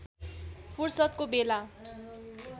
फुर्सदको बेला